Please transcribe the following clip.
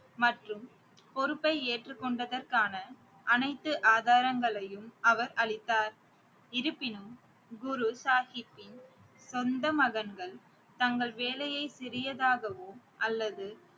மற்றும் பொறுப்பை ஏற்றுகொண்டதற்கான அனைத்து ஆதாரங்களையும் அவர் அளித்தார். இருப்பினும் குரு சாகிப்பின் சொந்த மகன்கள் தங்கள் வேலையை சிறியதாகவோ அல்லது